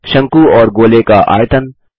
शंकु और गोले का आयतन